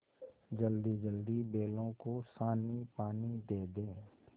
जल्दीजल्दी बैलों को सानीपानी दे दें